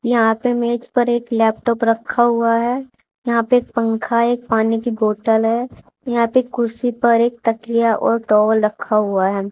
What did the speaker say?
यहां पे मेज पर एक लैपटॉप खा हुआ है यहां पे एक पंखा एक पानी की बोतल है यहां पे कुर्सी पर एक तकिया और टॉवेल रखा हुआ है।